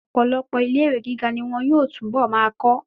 Ọ̀pọ̀lọpọ̀ ilé ìwé gíga ní wọn yóò tún bọ̀ máa kọ́.